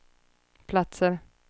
platser